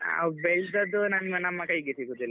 ನಾವ್ ಬೆಳ್ದದ್ದು ನಮ್ಮ ನಮ್ಮಕೈಗೆ ಸಿಗುದಿಲ್ಲ ಮತ್ತೆ.